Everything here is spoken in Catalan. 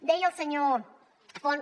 deia el senyor font